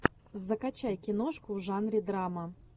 закачай киношку в жанре драма